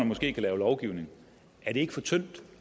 måske kan lave lovgivning er det ikke for tyndt